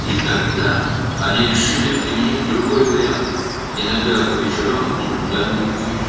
Və sonra başqa bir variant tətbiq etməyə qərar verdilər: bəzən axşamlar o, harasa gedirdi.